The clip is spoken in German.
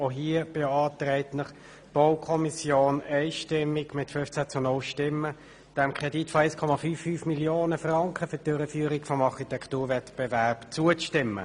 Auch hier beantragt Ihnen die Baukommission einstimmig mit 15 zu 0 Stimmen dem Kredit von 1,55 Mio. Franken zur Durchführung des Architekturwettbewerbs zuzustimmen.